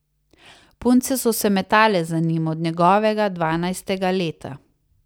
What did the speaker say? Punce so se metale za njim od njegovega dvanajstega leta.